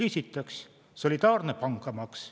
Esiteks, solidaarne pangamaks.